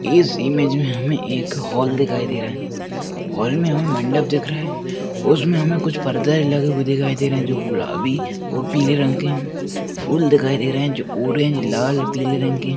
इस इमेज मे हमे एक हाल दिखाई दे रहा हैं हाल मे हमे मंडप दिख रहा हैं उसमे हमे कुछ पर्दे लगे हुए दिखाई दे रहे है जो गुलाबी और पीले रंग के है फूल दिखाई दे रहे है जो ऑरेंज लाल पीले रंग के--